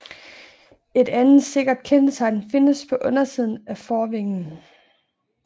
Et andet sikkert kendetegn findes på undersiden af forvingen